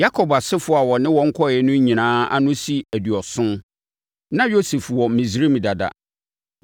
Yakob asefoɔ a ɔne wɔn kɔeɛ no nyinaa ano si aduɔson. Na Yosef wɔ Misraim dada.